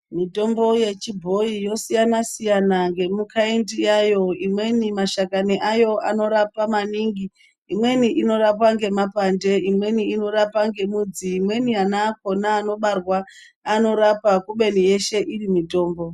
Mitombo yechibhoyi inosiyana siyana ngemukaindi yayo imweni mashakani ayo anorapa maningi, imweni inorapa ngemapande imweni inorapa nemudzi imweni ana akona anobarwa anorapa kubeni yeshe inenge iri mitombo.